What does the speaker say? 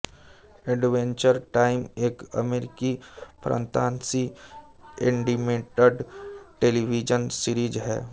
adventure time एक अमेरिकी फंतासी एनिमेटेड टेलीविजन सीरीज है